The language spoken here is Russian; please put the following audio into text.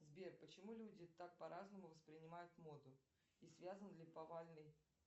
сбер почему люди так по разному воспринимают моду и связан ли повальный